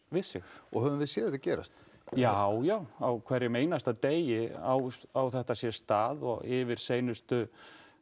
við sig höfum við séð þetta gerast já já á hverjum einasta degi á á þetta sér stað og yfir seinustu